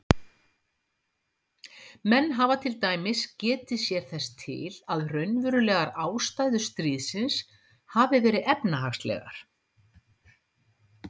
Menn hafa til dæmis getið sér þess til að raunverulegar ástæður stríðsins hafi verið efnahagslegar.